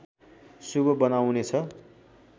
शुभ बनाउनेछ